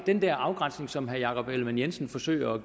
den afgrænsning som herre jakob ellemann jensen forsøger at